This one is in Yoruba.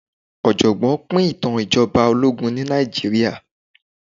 ọ̀jọ̀gbọ́n pín ìtàn ìjọba ológun ní Nàìjíríà.